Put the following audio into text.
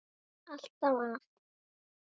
Alltaf að.